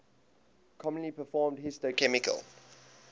commonly performed histochemical